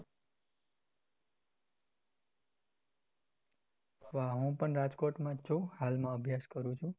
વાહ હું પણ રાજકોટમાં છુ હાલમાં અભ્યાસ કરું છુ.